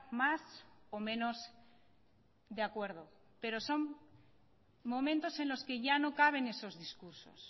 más o menos de acuerdo pero son momentos en los que ya no caben esos discursos